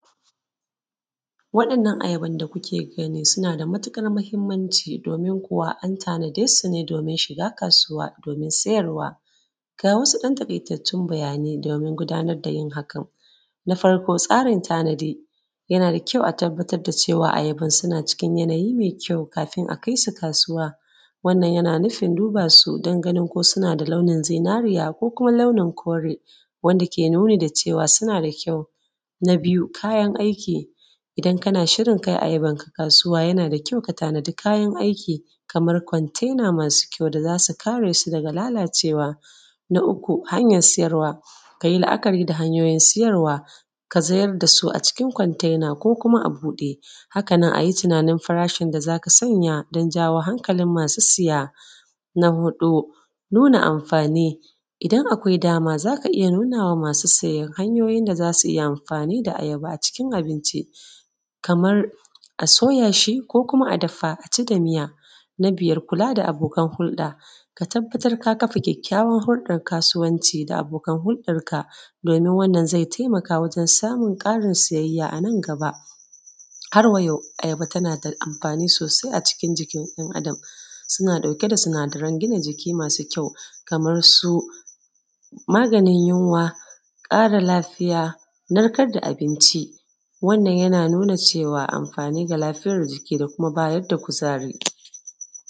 Waɗannan ayaban da kuke gani, suna da matuƙar muhimmanci domin kuwa an tanade su ne domin shiga kasuwa domin sayarwa. Ga wasu ‘yan taƙaitattun bayanai domin gudanar da yin hakan. Na farko tsarin tanadi, yana da kyau a tabbatar ayaban suna cikin yanayi mai kyau kafin a kai su kasuwa. Wannan yana nufin duba su don ganin ko suna da launin zinariya lo laonin kore, wanda ke nuni da cewa suna da kyau. Na biyu kayan aiki, idan kana shirin kai ayabanka kasuwa, yana da kyau ka tanada kayan aiki, kamar kontena masu kyau da za su kare su daga lalacewa. Na uku hanyar sayarwa, ka yi la’akari da hanyoyin siyarwa, ka zayar da su a cikin a cikin kontena ko kuma a buɗe. haka nan ka yi tunanin farashin da za ka sanya don jawo hankilin masu saya. Na huɗu nuna amfani, idan akwai dama za ka iya nuna ma masu saya hanyoyi da za su yi amfani da ayaba a cikin abinci, kamar a soya shi ko kuma a dafa a ci da miya. Na biyar kula da abokan hulɗa, ka tabbatar ka kafa kyakkyawan hulɗal kasuwanci da abokan huldanka, domin wannan zai taimaka wajen samun ƙarin sayayya a nan gaba. Har-wa-yau ayaba tana da amfani sosai a cikin jikin ɗan Adam, suna ɗauke da sinadaran gina jikimasu kyau kamar su, maganin yunwa, ƙara lafiya, narkadda abinci. Wannan yana nuna cewa amfani ga lafiyar jiki da kuma bayar da kuzari.